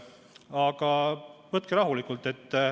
Aga võtke rahulikult.